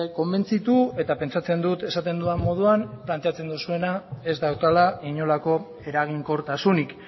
konbentzitu eta pentsatzen dut esaten dudan moduan planteatzen duzuena ez daukala inolako eraginkortasunik